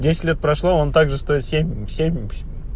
десять лет прошло он также стоит семь семь